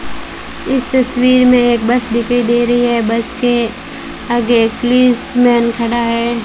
इस तस्वीर में एक बस दिखाई दे रही है बस के आगे एक पुलिसमेन खड़ा है।